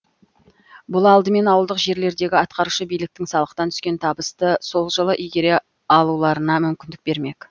бұл алдымен ауылдық жерлердегі атқарушы биліктің салықтан түскен табысты сол жылы игере алуларына мүмкіндік бермек